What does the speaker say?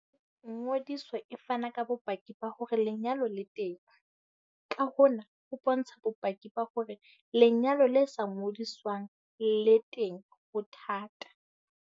Ngodiso e fana ka bopaki ba hore lenyalo le teng, ka hona ho bontsha bopaki ba hore lenyalo le sa ngodiswang le teng ho thata.